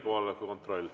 Kohaloleku kontroll.